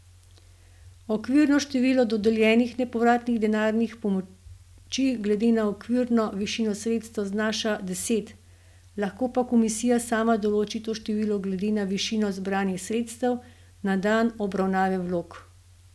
Okvirno število dodeljenih nepovratnih denarnih pomoči glede na okvirno višino sredstev znaša deset, lahko pa komisija sama določi to število glede na višino zbranih sredstev na dan obravnave vlog.